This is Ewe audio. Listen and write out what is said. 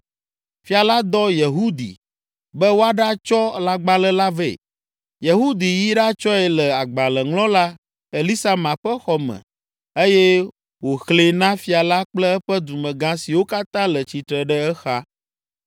Fia la dɔ Yehudi be wòaɖatsɔ lãgbalẽ la vɛ. Yehudi yi ɖatsɔe le agbalẽŋlɔla Elisama ƒe xɔ me eye wòxlẽe na fia la kple eƒe dumegã siwo katã le tsitre ɖe exa.